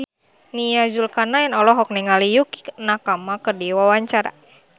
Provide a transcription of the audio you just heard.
Nia Zulkarnaen olohok ningali Yukie Nakama keur diwawancara